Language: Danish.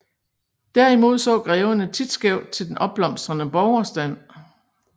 Derimod så greverne tit skævt til den opblomstrende borgerstand